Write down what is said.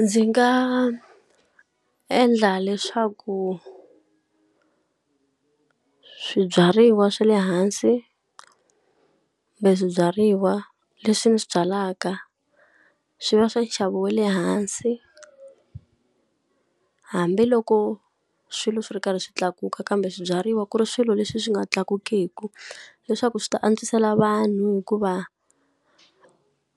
Ndzi nga endla leswaku swibyariwa swa le hansi kumbe swibyariwa leswi ni swi byalaka, swi va swi nxavo wa le hansi. Hambiloko swilo swi ri karhi swi tlakuka kambe swibyariwa ku ri swilo leswi swi nga tlakukeki, leswaku swi ta antswisela vanhu hikuva